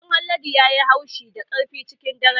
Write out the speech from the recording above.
Karen Haladu ya yi haushi da ƙarfi cikin daren jiya.